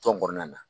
Tɔn kɔnɔna na